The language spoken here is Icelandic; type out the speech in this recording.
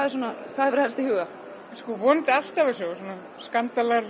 hvað hefurðu helst í huga vonandi allt af þessu og skandalar